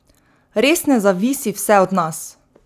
Res ne zavisi vse od nas!